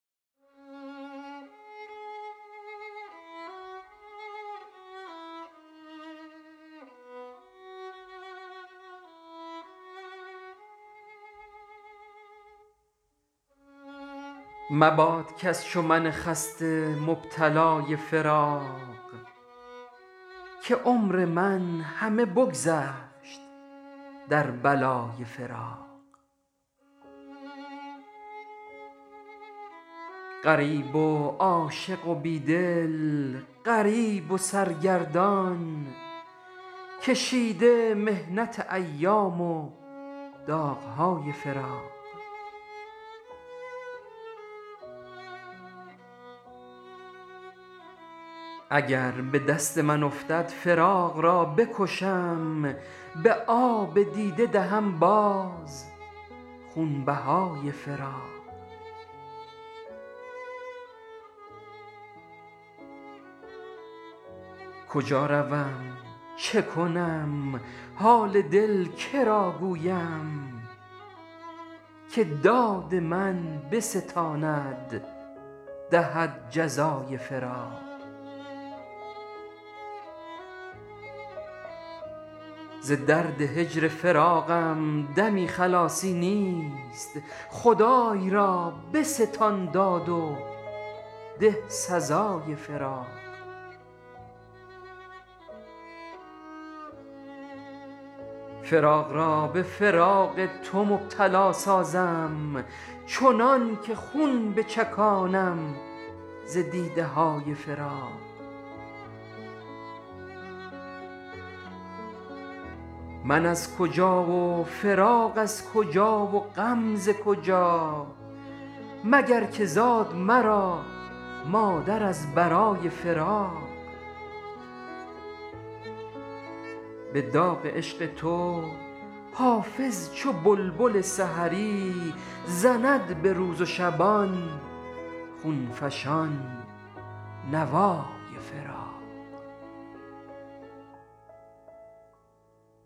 مباد کس چو من خسته مبتلای فراق که عمر من همه بگذشت در بلای فراق غریب و عاشق و بیدل غریب و سرگردان کشیده محنت ایام و داغهای فراق اگر به دست من افتد فراق را بکشم به آب دیده دهم باز خونبهای فراق کجا روم چه کنم حال دل که را گویم که داد من بستاند دهد جزای فراق ز درد هجر فراقم دمی خلاصی نیست خدای را بستان داد و ده سزای فراق فراق را به فراق تو مبتلا سازم چنان که خون بچکانم ز دیده های فراق من از کجا و فراق از کجا و غم ز کجا مگر که زاد مرا مادر از برای فراق به داغ عشق تو حافظ چو بلبل سحری زند به روز و شبان خون فشان نوای فراق